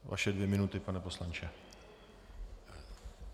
Vaše dvě minuty, pane poslanče.